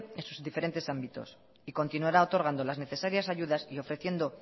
en sus diferentes ámbitos y continuará otorgando las necesarias ayudas y ofreciendo